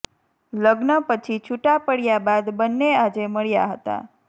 લગ્ન પછી છૂટાં પડયા બાદ બંને આજે મળ્યાં હતાં